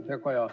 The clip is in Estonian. Hea Kaja!